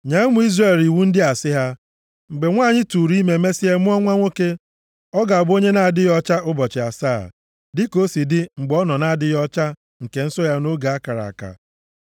“Nye ụmụ Izrel iwu ndị a sị ha, ‘Mgbe nwanyị tụụrụ ime mesịa mụọ nwa nwoke, ọ ga-abụ onye na-adịghị ọcha ụbọchị asaa, dịka o si adị mgbe ọ nọ nʼadịghị ọcha nke nsọ ya nʼoge a kara aka.